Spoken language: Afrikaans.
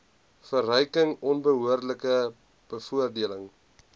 verryking onbehoorlike bevoordeling